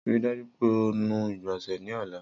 Rii daju pe o nu igbonse ni ọla!